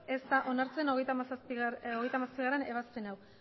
ez da onartzen hogeita hamazazpigarrena ebazpen hau